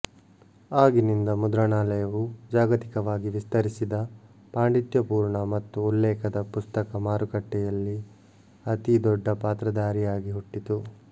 ಆಗಿನಿಂದ ಮುದ್ರಣಾಲಯವು ಜಾಗತಿಕವಾಗಿ ವಿಸ್ತರಿಸಿದ ಪಾಂಡಿತ್ಯಪೂರ್ಣ ಮತ್ತು ಉಲ್ಲೇಖದ ಪುಸ್ತಕ ಮಾರುಕಟ್ಟೆಯಲ್ಲಿ ಅತೀ ದೊಡ್ಡ ಪಾತ್ರಧಾರಿಯಾಗಿ ಹುಟ್ಟಿತು